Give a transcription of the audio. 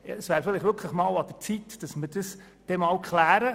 Vielleicht wäre es an der Zeit, dies einmal zu klären.